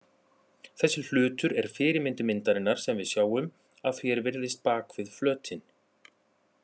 Þessi hlutur er fyrirmynd myndarinnar sem við sjáum að því er virðist bak við flötinn.